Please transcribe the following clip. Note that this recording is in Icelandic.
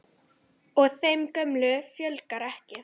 Og þeim gömlu fjölgar ekki.